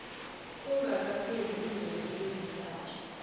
kungakapheli iimveke ezintathu